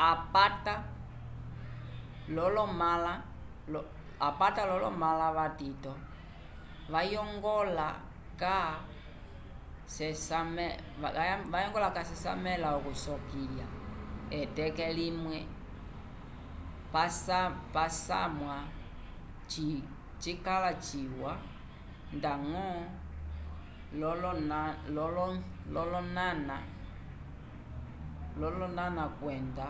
apata lolo mala vatito vayongola ca sesamela okusokiya eteke limwe posamwa cikala ciwa ndango lo loñaña kwenda